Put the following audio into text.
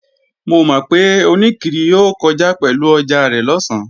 Mo mọ̀ pé oníkiri yóò kọjá pẹ̀lú ọjà rẹ̀ lọ̀sán